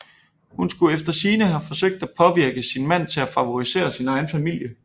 Hun skulle efter sigende have forsøgt at påvirke sin mand til at favorisere sin egen familie